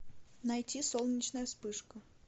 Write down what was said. найти солнечная вспышка